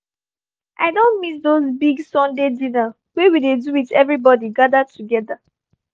i don miss those big sunday dinner wey we dey do with everybody gathered together